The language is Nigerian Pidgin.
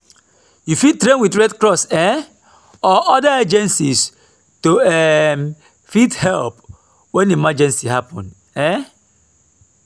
you fit train with red cross um or oda agencies to um fit help when emergency happen um